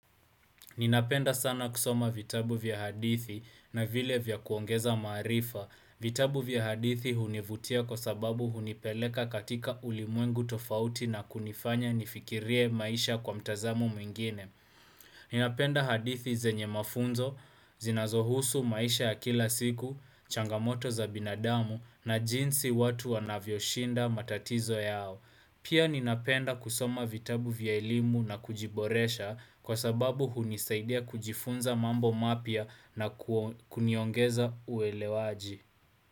Ninapenda sana kusoma vitabu vya hadithi na vile vya kuongeza marifa. Vitabu vya hadithi hunivutia kwa sababu hunipeleka katika ulimwengu tofauti na kunifanya nifikirie maisha kwa mtazamo mwingine Ninapenda hadithi zenye mafunzo, z zinazohusu maisha ya kila siku, changamoto za binadamu na jinsi watu wanavyo shinda matatizo yao. Pia ninapenda kusoma vitabu vya elimu na kujiboresha kwa sababu hunisaidia kujifunza mambo mapya na kuniongeza uwelewaji.